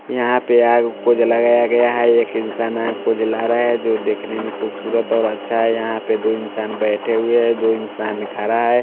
यहाँ पे आग को जलाया गया हैं एक इन्सान आग को जला रहा हैं जो देखने में खुबसूरत और अच्छा हैं यहाँ पे दो इन्सान बैठे हुए हैं दो इन्सान खड़ा हैं।